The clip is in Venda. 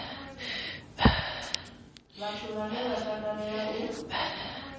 vhathu vhane vha takalea u